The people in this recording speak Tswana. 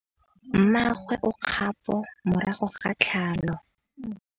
Mmagwe o kgapô morago ga tlhalô.